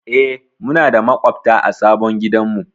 E, muna da maƙwabta a sabon gidanmu.